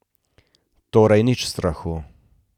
Torej nič strahu.